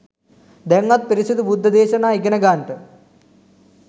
දැන්වත් පිරිසිදු බුද්ධ දේශනා ඉගනගන්ට.